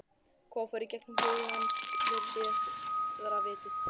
Hvað fór í gegnum huga hans fyrir síðara vítið?